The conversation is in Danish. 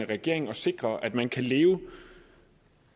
regering at sikre at man kan leve